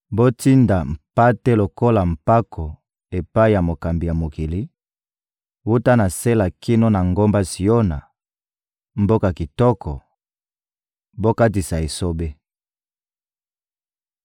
Botinda mpate lokola mpako epai ya mokambi ya mokili; wuta na Sela kino na ngomba Siona, mboka kitoko, bokatisa esobe.